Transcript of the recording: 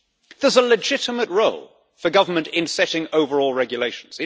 There is a legitimate role for government in setting overall regulations.